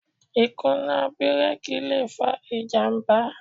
Ìkùnà bírèkì le fa ìjàmbá.